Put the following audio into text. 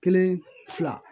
Kelen fila